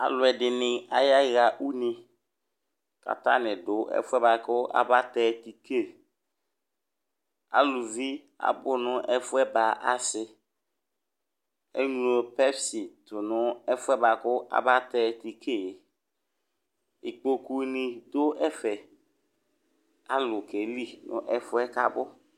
Aaluɛɖini ayaɣa ʋne,' k'atani ɖʋ ɛfʋɛ bua kʋ afɔna tɛ tike'Aalʋvi abʋ nʋ ɛfuɛ ba aasiEɣlo Pepsi tʋ nʋ ɛfʋɛ abatɛ tike'Ikpokuni ɖʋ ɛfɛAalʋ k'ali n'ɛfʋɛ k'abʋ